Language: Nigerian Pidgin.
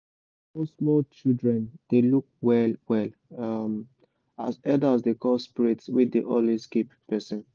small small children children dey look well well um as elders dey call spirits wey dey always keep person.